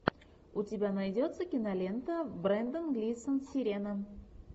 у тебя найдется кинолента брендан глисон сирена